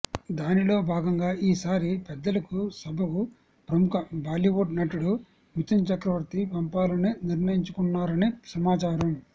దానిలో బాగంగా ఈ సారి పెద్దల సభకు ప్రముఖ బాలీవుడ్ నటుడు మిథున్ చక్రవర్తి పంపాలని నిర్ణయించుకున్నారని సమాచారం